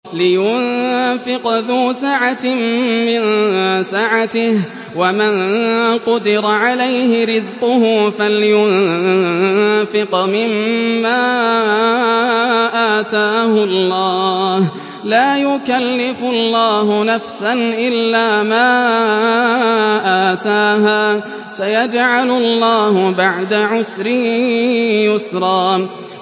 لِيُنفِقْ ذُو سَعَةٍ مِّن سَعَتِهِ ۖ وَمَن قُدِرَ عَلَيْهِ رِزْقُهُ فَلْيُنفِقْ مِمَّا آتَاهُ اللَّهُ ۚ لَا يُكَلِّفُ اللَّهُ نَفْسًا إِلَّا مَا آتَاهَا ۚ سَيَجْعَلُ اللَّهُ بَعْدَ عُسْرٍ يُسْرًا